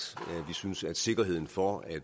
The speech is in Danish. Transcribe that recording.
at vi synes at sikkerheden for at